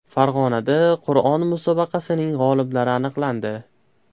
Farg‘onada Qur’on musobaqasining g‘oliblari aniqlandi.